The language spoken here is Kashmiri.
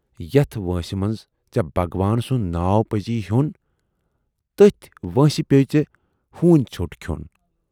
یَتھ وٲنسہِ منز ژے بھگوان سُند ناو پَزی ہیون، تٔتھۍ وٲنسہِ پٮ۪ووُے ہوٗنۍ ژھیوٹ کھیون۔